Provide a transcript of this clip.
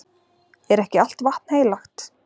Er ekki allt vatn heilagt?